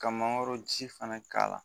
Ka mangoro ji fana k'a la